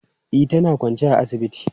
E, tana kwance a asibiti.